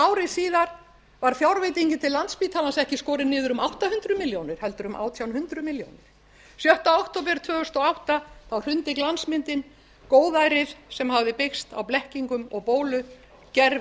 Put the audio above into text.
aðeins ári síðar var fjárveitingin til landspítalans ekki skorin niður um átta hundruð milljónir heldur um átján hundruð milljónir sjötta október tvö þúsund og átta hrundi glansmyndin góðærið sem hafði byggst á blekkingum og bólu gervilífskjörin hurfu aðkoma fyrir